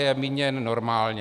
Je míněn normálně.